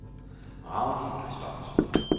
Ragnhild Christoffersen